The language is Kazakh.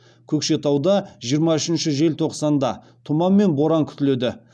көкшетауда жиырма үшінші желтоқсанда тұман мен боран күтіледі